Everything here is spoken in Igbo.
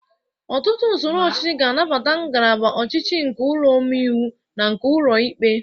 Ọtụtụ usoro ọchịchị ga-anabata ngalaba ọcịichị nke ụlọ ome iwu na nke ụlọ ikpe.